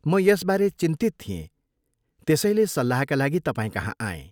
म यसबारे चिन्तित थिएँ, त्यसैले सल्लाहका लागि तपाईँकहाँ आएँ।